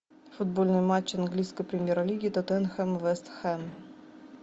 футбольный матч английской премьер лиги тоттенхэм вест хэм